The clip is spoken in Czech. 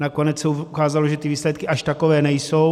Nakonec se ukázalo, že ty výsledky až takové nejsou.